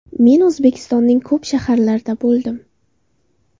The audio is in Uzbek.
Men O‘zbekistonning ko‘p shaharlarida bo‘ldim.